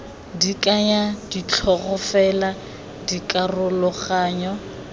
di kaya ditlhogo fela dikaroganyo